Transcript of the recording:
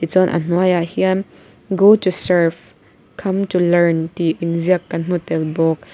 chuan a hnuaiah hian go to serve come to learn tih in ziak kan hmu tel bawk.